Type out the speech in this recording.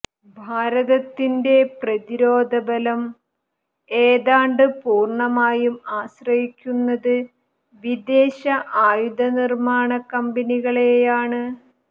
ഭാരതത്തിന്റെ പ്രതിരോധബലം ഏതാണ്ട് പൂര്ണ്ണമായും ആശ്രയിക്കുന്നത് വിദേശ ആയുധനിര്മ്മാണ കമ്പനികളെയാണ്